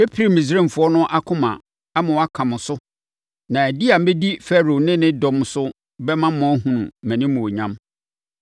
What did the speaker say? Mɛpirim Misraimfoɔ no akoma ama wɔaka mo so na di a mɛdi Farao ne ne dɔm so bɛma mo ahunu mʼanimuonyam.